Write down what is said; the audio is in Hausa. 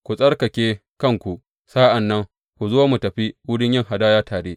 Ku tsarkake kanku sa’an nan ku zo mu tafi wurin yin hadaya tare.